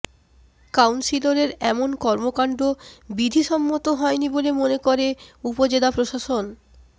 কাউন্সিলরের এমন কর্মকাণ্ড বিধিসম্মত হয়নি বলে মনে করে উপজেলা প্রশাসন